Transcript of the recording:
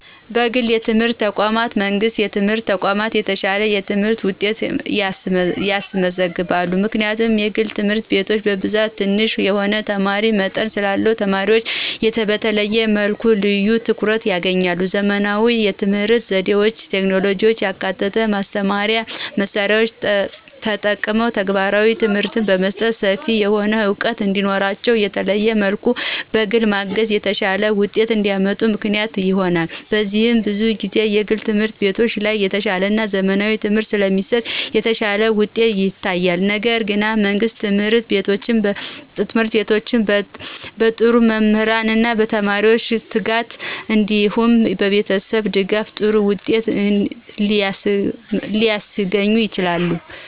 የግል የትምህርት ተቋማት ከመንግሥት የትምህርት ተቋማት የተሻለ የትምህርት ውጤት ያስመዘግባሉ። ምክንያቱም የግል ትምህርት ቤቶች በብዛት ትንሽ የሆነ የተማሪ መጠን ስላለ ተማሪዎችን በተለየ መልኩ ልዩ ትኩረት ያገኛሉ። _ ዘመናዊ የትምህርት ዘዴዎችና ቴክኖሎጂን ያካተቱ የማስተማሪያ መሳሪያዎችን ተጠቅሞ ተግባራዊ ትምህርት በመስጠት ሰፊ የሆነ ዕውቀት እንዲኖራቸውና በተለየ መልኩ በግል በማገዝ የተሻለ ውጤት እንዲያመጡ ምክንያት ይሆናል። በዚህም ብዙ ጊዜ የግል ትምህርት ቤቶች ላይ የተሻለና ዘመናዊ ትምህርት ስለሚሰጥ የተሻለ ውጤት ይታያል። ነገር ግን የመንግስት ትምህርት ቤቶችም በጥሩ መምህርና በተማሪዎች ትጋት እንዲሁም በቤተሰብ ድጋፍ ጥሩ ውጤት ሊያስገኙ ይችላሉ።